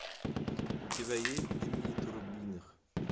у тебя есть дни турбиных